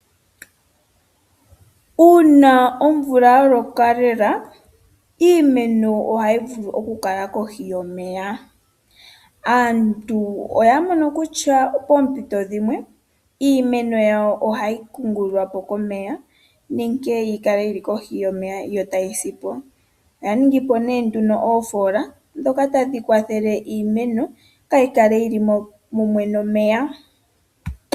Una omvula ya loka lela iimeno, ohayi vulu okukala kohi yomeya. Aantu oya mono kutya pompito dhimwe iimeno yawo ohayi kungululwa po komeya nenge yi kale yi li kohiyomeya yotayi sipo. Oya ningi po ne nduno ofola dhoka tadhi kwathele iimeno ya kala yil i mumwe nomeya.